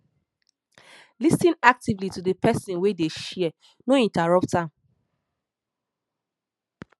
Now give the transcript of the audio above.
lis ten actively to di person wey dey share no interrupt am